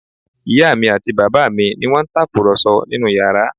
Ìyá mi àti bàbá mi ni wọ́n ń tàkùrọ̀sọ nínú yàrá